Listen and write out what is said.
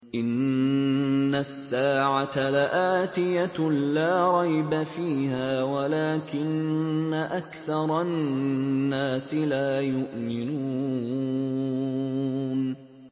إِنَّ السَّاعَةَ لَآتِيَةٌ لَّا رَيْبَ فِيهَا وَلَٰكِنَّ أَكْثَرَ النَّاسِ لَا يُؤْمِنُونَ